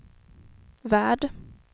värld